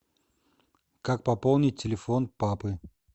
как пополнить телефон папы